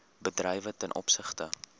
bedrywe ten opsigte